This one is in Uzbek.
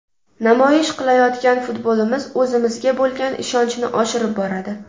Namoyish qilayotgan futbolimiz o‘zimizga bo‘lgan ishonchni oshirib boradi.